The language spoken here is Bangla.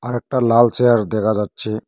একটা লাল চেয়ার দেখা যাচ্ছে।